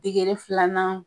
Degere filanan